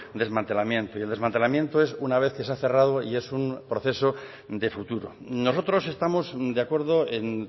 desmantelamiento y el desmantelamiento es una vez que se ha cerrado y es un proceso de futuro nosotros estamos de acuerdo en